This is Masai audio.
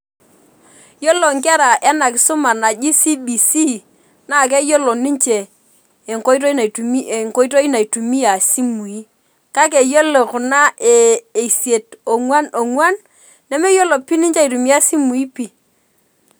Yiolo nkera enakisuma naji cbc na keyiolo naitumie enkoitoi naitumia simui kake yiolo kuna e isiet onguan onguan nemeyiolo ninche aitumia simui pii .